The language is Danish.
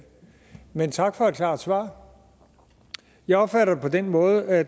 men tak for et klart svar jeg opfatter det på den måde at